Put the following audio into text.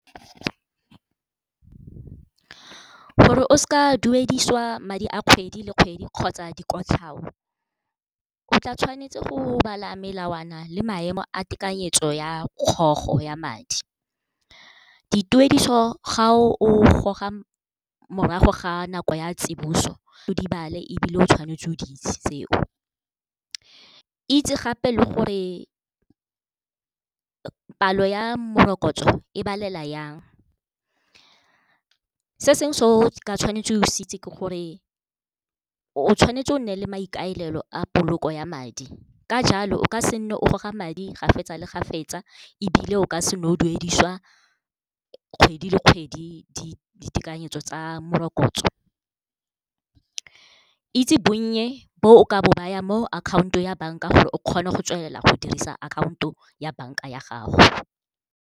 Gore o seke wa duedisiwa madi a kgwedi le kgwedi kgotsa dikotlhao, o tla tshwanetse go bala melawana le maemo a tekanyetso ya kgogo ya madi. Dituediso ga o goga morago ga nako ya tsiboso o di bale ebile o tshwanetse o di itse tseo, itse gape le gore palo ya morokotso e balela yang. Se sengwe se o ka tshwanetse o se itse ke gore o tshwanetse o nne le maikaelelo a poloko ya madi, ka jalo o ka se nne o goga madi ga fetsa le ga fetsa ebile o ka se nne o duedisiwa kgwedi le kgwedi ditekanyetso tsa morokotso. Itse bonnye bo o ka bo bayang mo akhaonto ya bank-a gore o kgone go tswelela go dirisa akhaonto ya bank-a ya gago.